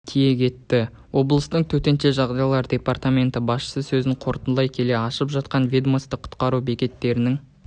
тиек етті облыстың төтенше жағдайлар департаменті басшысы сөзін қорытындылай келе ашылып жатқан ведомстволық құтқару бекеттерінің